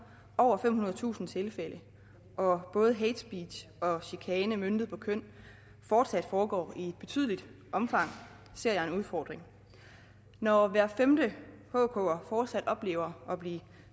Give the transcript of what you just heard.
over femhundredetusind tilfælde og både hatespeech og chikane møntet på køn fortsat foregår i et betydeligt omfang ser jeg en udfordring når hver femte hker fortsat oplever at blive